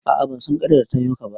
A'a ban san ƙaryar da ta yi ma ka ba